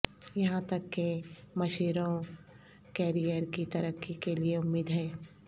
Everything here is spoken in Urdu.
یہاں تک کہ مشیروں کیریئر کی ترقی کے لئے امید ہے